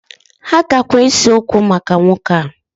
Ha gakwa ese okwo maka nwoke a